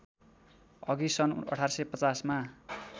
अघि सन् १८५० मा